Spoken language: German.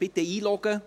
Bitte einloggen.